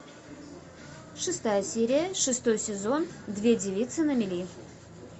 шестая серия шестой сезон две девицы на мели